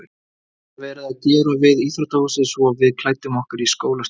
Það var verið að gera við íþróttahúsið svo við klæddum okkur í skólastofu þarna.